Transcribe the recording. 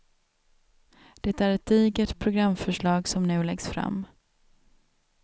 Det är ett digert programförslag som nu läggs fram.